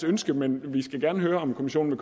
ønske men vi skal gerne høre om kommissionen